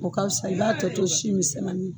O ka fisa i b'a tɔ to si misɛnmanin